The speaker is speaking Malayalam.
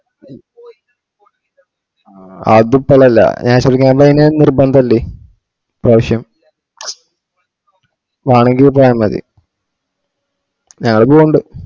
അത് ഇപ്പോളല്ല ഞാൻ ശെരിക്കുംപറഞ്ഞയഞാൽ നിര്ബന്ധഇല്ലേ ഈ പ്രാവിശ്യം മാണെങ്കിൽ പോയാമതി ഞാള് പോണുണ്ട്